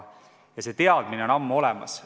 See teadmine on ammu olemas.